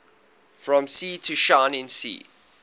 from sea to shining sea